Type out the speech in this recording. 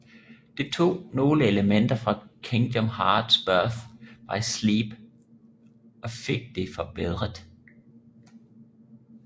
De tog nogle elementer fra Kingdom Hearts Birth by Sleep og fik det forbedret